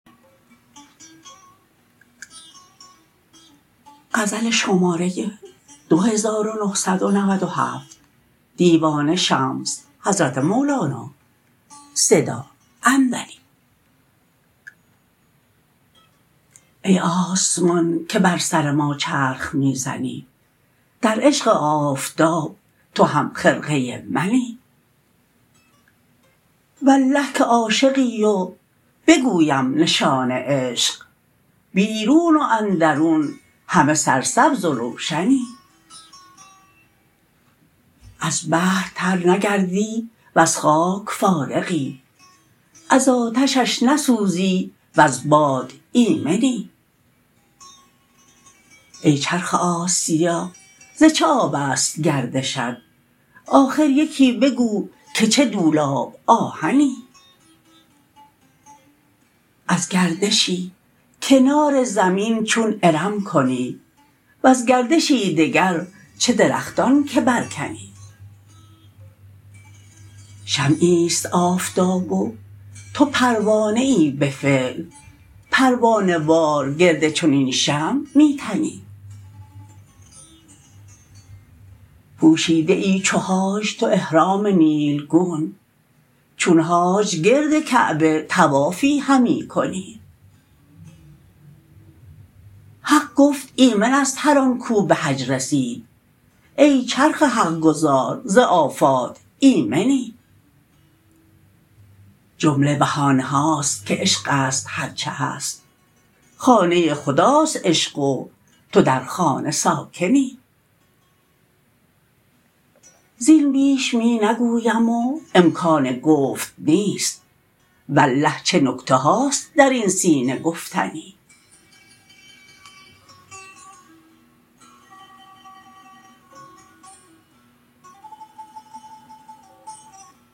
ای آسمان که بر سر ما چرخ می زنی در عشق آفتاب تو همخرقه منی والله که عاشقی و بگویم نشان عشق بیرون و اندرون همه سرسبز و روشنی از بحر تر نگردی و ز خاک فارغی از آتشش نسوزی و ز باد ایمنی ای چرخ آسیا ز چه آب است گردشت آخر یکی بگو که چه دولاب آهنی از گردشی کنار زمین چون ارم کنی وز گردشی دگر چه درختان که برکنی شمعی است آفتاب و تو پروانه ای به فعل پروانه وار گرد چنین شمع می تنی پوشیده ای چو حاج تو احرام نیلگون چون حاج گرد کعبه طوافی همی کنی حق گفت ایمن است هر آن کو به حج رسید ای چرخ حق گزار ز آفات ایمنی جمله بهانه هاست که عشق است هر چه هست خانه خداست عشق و تو در خانه ساکنی زین بیش می نگویم و امکان گفت نیست والله چه نکته هاست در این سینه گفتنی